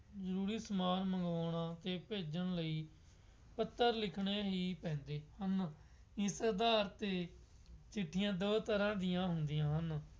ਜ਼ਰੂਰੀ ਸਮਾਨ ਮੰਗਵਾਉਣਾ ਅਤੇ ਭੇਜਣ ਲਈ ਪੱਤਰ ਲਿਖਣੇ ਹੀ ਪੈਂਦੇ ਹਨ। ਇਸਦਾ ਅਰਥ ਹੈ ਚਿੱਠੀਆਂ ਦੋ ਤਰ੍ਹਾਂ ਦੀਆ ਹੁੰਦੀਆਂ ਹਨ।